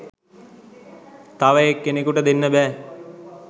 තව එක් කෙනෙකුට දෙන්න බැහැ.